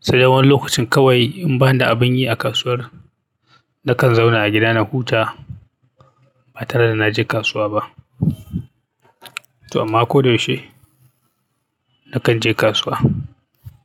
Sai dai wani lokacin kawai in bani da abin yi a kasuwar, nakan zauna a gida na huta ba tare da na je kasuwa ba. Amma ko da yaushe nakan je kasuwa.